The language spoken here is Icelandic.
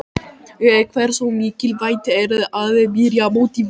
Hversu mikilvægt er að byrja mótið vel?